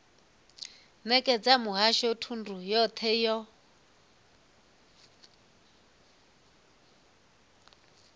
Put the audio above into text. nekedza muhasho thundu yothe yo